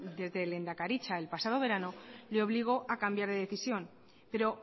desde lehendakaritza el pasado verano le obligó a cambiar de decisión pero